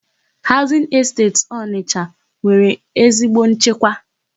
Haụzịn Esteti Ọnịsha nwere ezigbo nchekwa.